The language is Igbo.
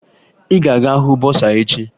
Ị ga-aga hụ bọsaa echi!